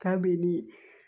Kabini